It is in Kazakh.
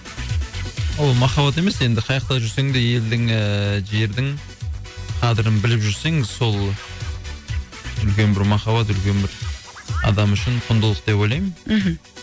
ол махаббат емес енді қаяқта жүрсең де елдің ііі жердің қадірін біліп жүрсең сол үлкен бір махаббат үлкен бір адам үшін құндылық деп ойлаймын мхм